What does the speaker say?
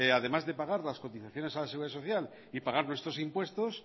además de pagar las cotizaciones a la seguridad social y pagar nuestros impuestos